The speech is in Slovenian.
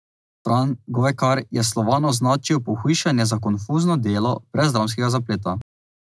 Fran Govekar je v Slovanu označil Pohujšanje za konfuzno delo brez dramskega zapleta.